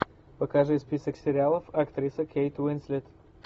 покажи список сериалов актриса кейт уинслет